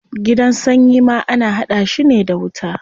Gidan sanyi ma ana hada shi ne da wuta.